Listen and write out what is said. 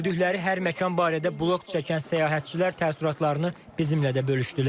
Gördükləri hər məkan barədə bloq çəkən səyyahlar təəssüratlarını bizimlə də bölüşdülər.